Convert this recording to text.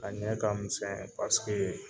A ɲɛ ka misɛn paseke